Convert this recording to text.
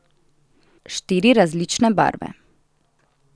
Štiri različne barve.